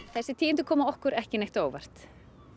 þessi tíðindi koma okkur ekki neitt á óvart